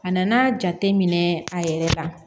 A nana jate minɛ a yɛrɛ la